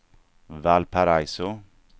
Valparaiso